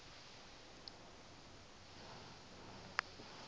ukwa yo olo